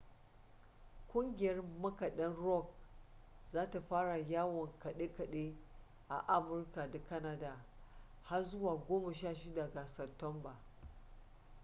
ƙungiyar makaɗan rock za ta fara yawon kaɗe-kaɗe a amurka da canada har zuwa 16 ga satumba